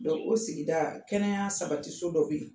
o sigida kɛnɛya sabatiso dɔ bɛ yen